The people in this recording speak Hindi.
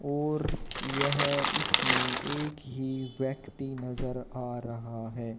और यह इसमें एक ही व्यक्ति नजर आ रहा है।